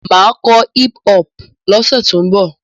Mà á kọ hip-hop lọ́sẹ̀ tó ń bọ̀.